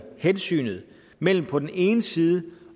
hensynet mellem på den ene side